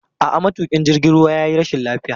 A'a, matuƙin jirgin ruwa ya yi rashin lafiya.